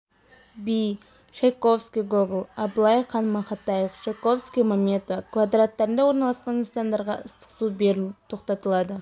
би чайковский гоголь абылай хан мақатаев чайковский маметова квадраттарында орналасқан нысандарға ыстық су беру тоқтатылады